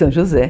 São José.